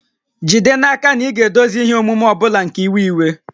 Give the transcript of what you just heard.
Jide n'aka na ị ga-edozi ihe omume ọ bụla nke iwe iwe